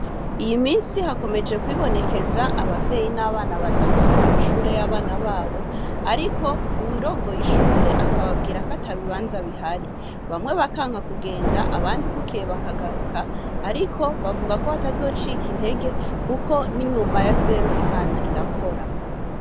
Iy'iminsi hakomeje kwibonekeza Abavyeyi n'abana baza gusaba ibibanza vy'ishure, ariko umuyobozi akababwira kw'atabibanza bihari, bamwe bakanka kugenda, abandi bukeye bakagaruka bavuga ko batabatazocika intege, kuko n'inyuma ya zeru Imana Irakora.